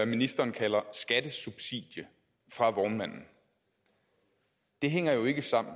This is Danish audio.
ministeren kalder et skattesubsidie fra vognmanden det hænger jo ikke sammen